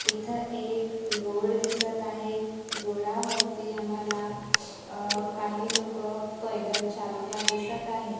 इथ एक रोड दिसत आहे रोड वरती आम्हाला अ काही लोकं पैदल चालता दिसत आहेत.